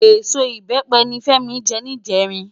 Ésó ibèpe ni Femi jè nijèrin